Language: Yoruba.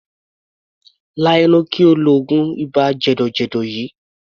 Lá ẹnu kí o lo oògùn ibà jẹ̀dọ̀jẹ̀dọ̀ yìí!